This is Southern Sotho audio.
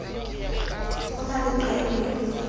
ho na le leqai le